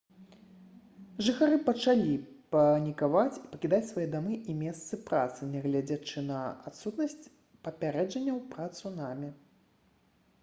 жыхары пачалі панікаваць і пакідаць свае дамы і месцы працы нягледзячы на адсутнасць папярэджанняў пра цунамі